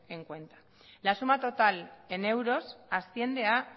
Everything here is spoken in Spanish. en cuenta la suma total en euros asciende a